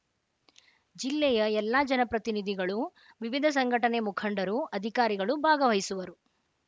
ಜಿಲ್ಲೆಯ ಎಲ್ಲಾ ಜನಪ್ರತಿನಿಧಿಗಳು ವಿವಿಧ ಸಂಘಟನೆ ಮುಖಂಡರು ಅಧಿಕಾರಿಗಳು ಭಾಗವಹಿಸುವರು